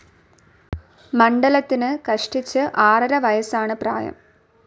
മണ്ഡലത്തിന് കഷ്ടിച്ചു ആറര വയസ്സാണ് പ്രായം.